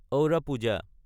আওদা পূজা